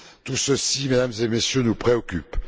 Tout ceci, Mesdames et Messieurs, nous préoccupe.